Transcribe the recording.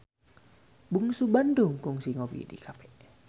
Bungsu Bandung kungsi ngopi di cafe